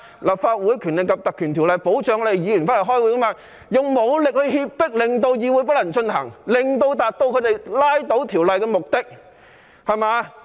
《立法會條例》保障議員在立法會開會，但他們卻用武力脅迫，令會議無法進行，以達致他們拉倒法案的目的。